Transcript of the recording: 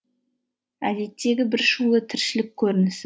әдеттегі бір шулы тіршілік көрінісі